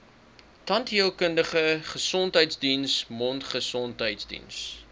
tandheelkundige gesondheidsdiens mondgesondheidsdiens